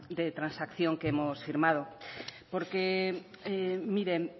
de transacción que hemos firmado porque miren